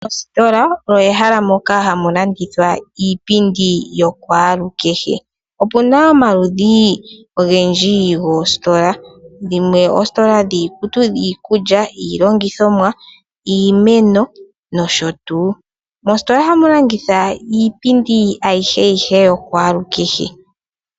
Ositola omo mehala moka hamu landithwa iipindi yokwaalukehe. Opuna omaludhi ogendji goositola dhimwe oositola dhiikutu, dhiikulya, dhiilongithomwa, iimeno nosho tuu. Moositola ohamu landithwa iipindi ayihe yihe yokwaalukehe.